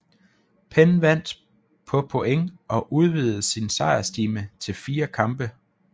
Penn vandt på point og udvidede sin sejrstime til 4 kampe